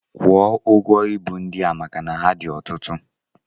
Kwụọ ụgwọ ibu ndị a maka na ha dị ọtụtụ!